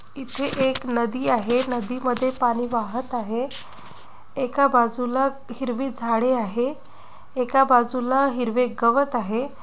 इथे एक नदी आहे नदीमध्ये पाणी वाहत आहे एका बाजूला हिरवी झाडे आहे एका बाजूला हिरवे गवत आहे.